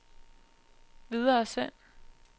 videresend